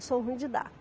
Eu sou ruim de da.